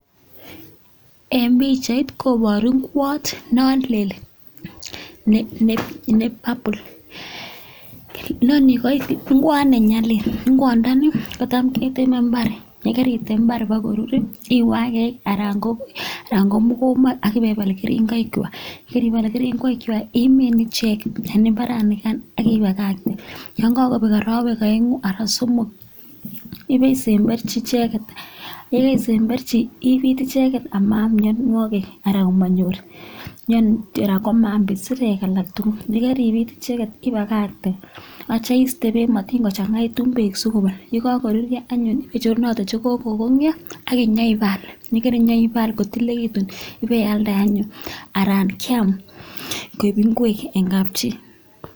Eng pichait koboru kwot non lel ne ne purple kwot ne nyalil kwondoni kotam keteme eng imbar yekeritem eng mbar ipkorur iwe ak mokombo ak ipepal keringoik kwai ibare ipal keringoik imin ichek eng imbaret nikan ak ibakakte ye kakobek arawek aengu anan somok ibisemberji ichekek ye kabisemberji ibit icheget amaam mionwogik ara komanyor ara mwamaam isirek alak tugul. Nyetekiribit ichek ibakakte atya iste beek matiny kochanga beek si kobul ye kakorurio anyun icherunote che kokonyo ak nyoibal kitilekitu ibealde anyun anan kiam koek ingwek eng kapchi.